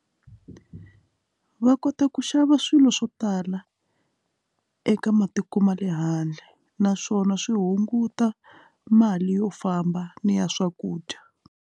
Va kota ku xava swilo swo tala eka matiko ma le handle naswona swi hunguta mali yo famba ni ya swakudya.